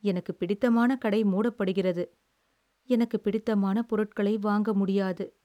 எனக்குப் பிடித்தமான கடை மூடப்படுகிறது, எனக்குப் பிடித்தமான பொருட்களை வாங்க முடியாது.